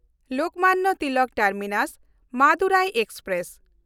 Lokmanya Tilak ᱴᱟᱨᱢᱤᱱᱟᱥ–ᱢᱟᱫᱩᱨᱟᱭ express